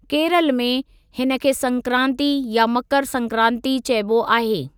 केरल में, हिनखे संक्रांति या मकर संक्रांति चइबो आहे।